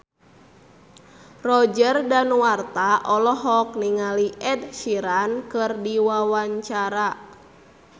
Roger Danuarta olohok ningali Ed Sheeran keur diwawancara